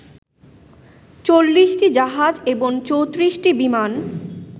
৪০টি জাহাজ এবং ৩৪টি বিমান